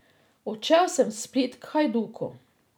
Odšel sem v Split k Hajduku.